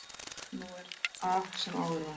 Nú er af sem áður var